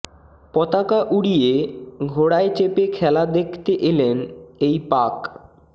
পতাকা উড়িয়ে ঘোড়ায় চেপে খেলা দেখতে এলেন এই পাক